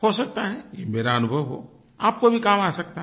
हो सकता है ये मेरा अनुभव हो आपको भी काम आ सकता है